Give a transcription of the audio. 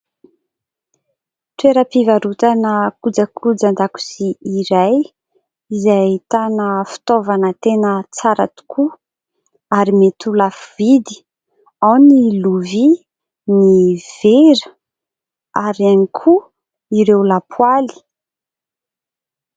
Toeram-pivarotana kojakojan-dakozia iray izay ahitana fitaovana tena tsara tokoa ary mety ho lafo vidy ; ao ireo lovia, ny vera ary ihany koa ireo lapoaly.